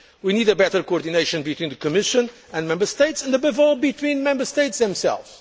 We need better coordination between the Commission and Member States and, above all, between Member States themselves.